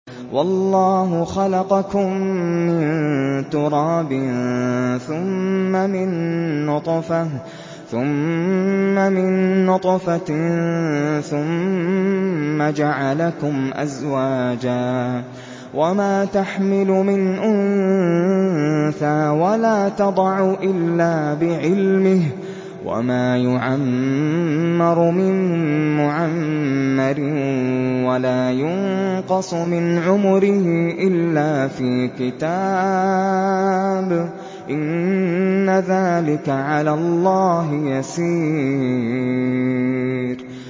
وَاللَّهُ خَلَقَكُم مِّن تُرَابٍ ثُمَّ مِن نُّطْفَةٍ ثُمَّ جَعَلَكُمْ أَزْوَاجًا ۚ وَمَا تَحْمِلُ مِنْ أُنثَىٰ وَلَا تَضَعُ إِلَّا بِعِلْمِهِ ۚ وَمَا يُعَمَّرُ مِن مُّعَمَّرٍ وَلَا يُنقَصُ مِنْ عُمُرِهِ إِلَّا فِي كِتَابٍ ۚ إِنَّ ذَٰلِكَ عَلَى اللَّهِ يَسِيرٌ